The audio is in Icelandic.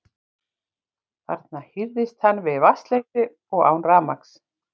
Þarna hírðist hann við vatnsleysi og án rafmagns.